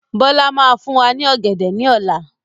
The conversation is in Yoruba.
Bọlá máa fún wa ní ọ̀gẹ̀dẹ̀ ni ọ̀la.